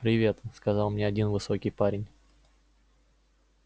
привет сказал мне один высокий парень